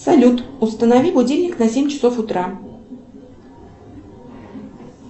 салют установи будильник на семь часов утра